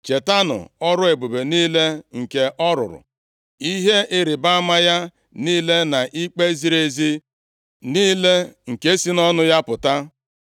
Chetanụ ọrụ ebube niile nke ọ rụrụ, ihe ịrịbama ya niile na ikpe ziri ezi niile nke si nʼọnụ ya pụta.